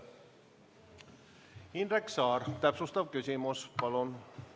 Indrek Saar, täpsustav küsimus palun!